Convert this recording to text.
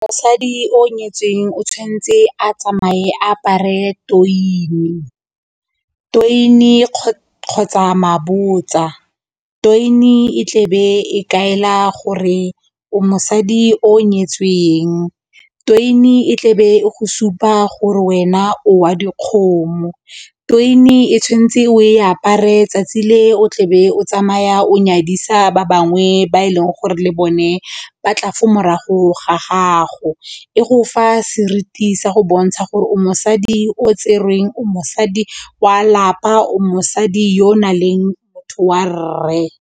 Mosadi o nyetsweng o tshwanetse a tsamaye a apare toine kgotsa mabotsa, toine e tlebe e kaela gore mosadi o nyetsweng, toine e tlebe go supa gore wena o wa dikgomo, toine e tshwanetse o e apare 'tsatsi le o tlebe o tsamaya o nyadisa ba bangwe ba e leng gore le bone ba tla fo morago ga gago, e go fa seriti sa go bontsha gore o mosadi o tserweng, o mosadi wa lapa, o mosadi yo o nang le motho wa rre.